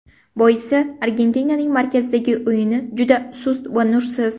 Boisi, Argentinaning markazidagi o‘yini juda sust va nursiz.